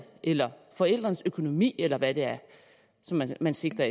eller forældrenes økonomi eller hvad det er man sigter